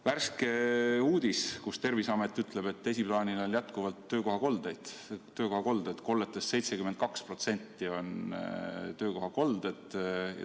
Värske uudis on selle kohta, et Terviseameti sõnul on jätkuvalt esiplaanil töökohakolded, st kolletest 72% on töökohakolded.